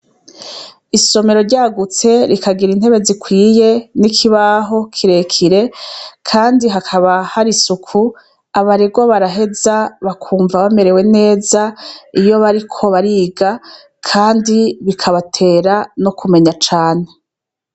Isomero ryagutse rikagir' intebe zikwiye n' ikibaho kirekire kandi hakaba har' isuku, abaregwa baraheza bakumva bamerewe nez' iyo bariko bariga kandi bikabatera n' ukumenya cane.